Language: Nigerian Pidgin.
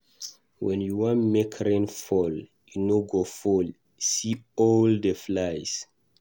When you wan make rain fall e no go fall, see all the flies.